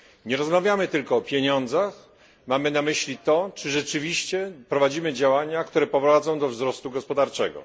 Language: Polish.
Nie rozmawiamy tylko o pieniądzach, mamy na myśli to, czy rzeczywiście prowadzimy działania, które prowadzą do wzrostu gospodarczego.